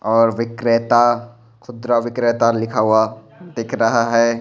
और विक्रेता खुद्रा विक्रेता लिखा हुआ दिख रहा है।